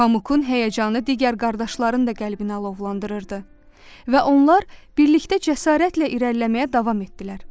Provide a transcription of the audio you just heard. Pamukun həyəcanı digər qardaşların da qəlbini alovlandırırdı və onlar birlikdə cəsarətlə irəliləməyə davam etdilər.